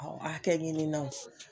Aw hakɛ ɲininaw